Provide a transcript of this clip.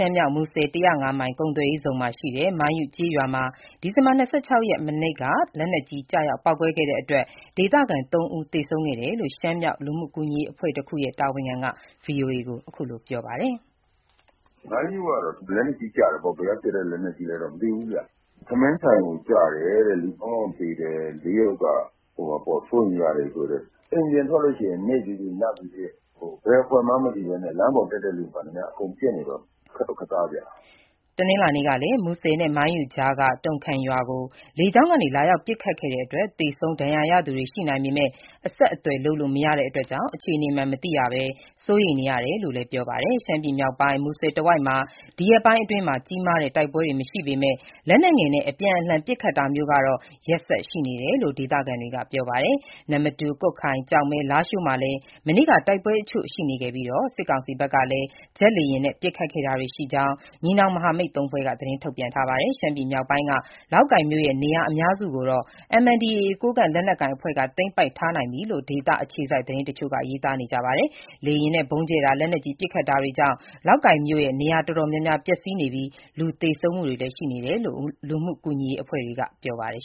မ်းမြောက် မူဆယ် ၁၀၅ မိုင် ကုန်သွယ်ရေးဇုန်မှာရှိတဲ့ မိုင်းယု (Mong Yu) ကျေးရွာမှာ ဒီဇင်ဘာ ၂၆ ရက် မနေ့က လက်နက်ကြီး ကျရောက် ပေါက်ကွဲခဲ့တဲ့အတွက် ဒေသခံ ၃ ဦး သေဆုံးခဲ့ရတယ်လို့ ရှမ်းမြောက် လူမှုကူညီရေး အဖွဲ့တခုရဲ့ တာဝန်ခံက VOA ကို ပြောပါတယ်။ " မိုင်းယုကတော့ လက်နက်ကြီးကျတယ်ပေါ့၊ ဘယ်ကပစ်တဲ့ လက်နက်ကြီးလဲတော့ မသိဘူးဗျ။ ထမင်းဆိုင်ကို ကျတယ်တဲ့၊ သုံးယောက်သေတယ်။ လေးယောက်က စိုးရိမ်ရတယ်ပြောတယ်။ အိမ်ပြင်ထွက်ရင် နေ့ဖြစ်ဖြစ်၊ ညဖြစ်ဖြစ် ဘယ်အဖွဲ့မှန်းမသိဘဲနဲ့ လမ်းပေါ်တက်တဲ့သူမှန်သမျှ အကုန်ပစ်နေတော့ ခက်တော့ခက်သားဗျ။” ဒီဇင်ဘာ ၂၅ ရက်၊ တနင်္လာနေ့ကလည်း မူဆယ်နဲ့ မိုင်းယုကြားက တုံခမ်ရွာကို လေကြောင်းကနေ လာရောက် ပစ်ခတ်တဲ့အတွက် သေဆုံး၊ ဒဏ်ရာရသူတွေ ရှိနိုင်ပေမယ့် အဆက်အသွယ်လုပ်လို့ မရတာကြောင့် အခြေနေမှန် မသိရပဲ စိုးရိမ်နေရတယ်လို့လည်း ပြောပါတယ်။ ရှမ်းပြည်မြောက်ပိုင်း မူဆယ်တဝိုက်မှာ ဒီရက်ပိုင်းအတွင်း ကြီးမားတဲ့ တိုက်ပွဲတွေမရှိပေမယ့် လက်နက်ငယ်နဲ့ အပြန်အလှန် ပစ်ခတ်တာမျိုးကတော့ ရက်ဆက်ရှိနေတယ်လို့ ဒေသခံတွေက ပြောပါတယ်။ နမ္မတူ၊ ကွတ်ခိုင်၊ ကျောက်မဲ၊ လားရှိုးမှာလည်း မနေ့က တိုက်ပွဲတချို့ရှိခဲ့ပြီး စစ်ကောင်စီဘက်ကလည်း ဂျက်လေယာဉ်နဲ့ ပစ်ခတ်ခဲ့တာရှိကြောင်း ညီနောင် မဟာမိတ်သုံးဖွဲ့က သတင်း ထုတ်ပြန်ထားပါတယ်။ ရှမ်းပြည်နယ်မြောက်ပိုင်းက လောက်ကိုင်မြို့ရဲ့ နေရာ အများစုကိုတော့ MNDAA ကိုးကန့်လက် နက်ကိုင်အဖွဲ့က သိမ်းပိုက်ထားနိုင်ပြီလို့ ဒေသအခြေစိုက် သတင်းတချို့က ရေးသားကြပါတယ်။ လေယာဉ်နဲ့ ဗုံးကြဲတာ၊ လက်နက်ကြီး ပစ်ခတ်တာတွေကြောင့် လောက်ကိုင်မြို့မှာ နေရာတော်တော် များများ ပျက်စီးနေပြီး လူသေဆုံးမှုတွေလည်းရှိကြောင်း လူမှုကူညီရေး အဖွဲ့တွေက ပြောပါတယ်